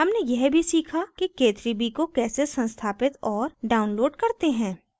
हमने यह भी सीखा कि k3b को कैसे संस्थापित और download करते हैं